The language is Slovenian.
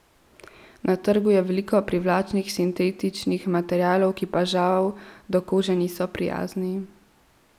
Na trgu je veliko privlačnih sintetičnih materialov, ki pa žal do kože niso prijazni.